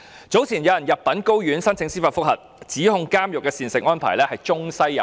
早前有人入稟高等法院申請司法覆核，指控監獄的膳食安排中西有別。